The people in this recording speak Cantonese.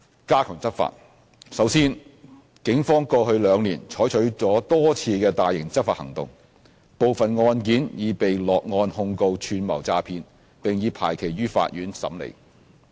a 加強執法首先，警方過去兩年採取了多次大型執法行動。部分案件已被落案控告"串謀詐騙"，並已排期於法院審理。